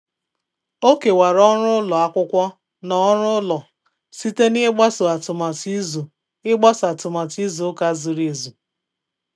O kewara ọrụ ụlọ akwụkwọ na ọrụ ụlọ site na ịgbaso atụmatụ izu ịgbaso atụmatụ izu ụka zuru ezu